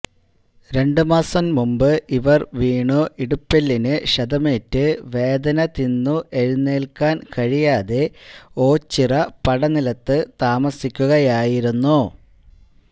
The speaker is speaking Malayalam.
രണ്ട്മാസം മുന്പ് ഇവര് വീണു ഇടുപ്പെല്ലിന് ക്ഷതമേറ്റ് വേദന തിന്നു എഴുന്നേല്ക്കാന് കഴിയാതെ ഓച്ചിറ പടനിലത്ത് താമസിക്കുകയായിരുന്നു